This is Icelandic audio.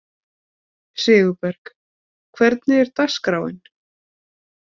Sigurberg, hvernig er dagskráin?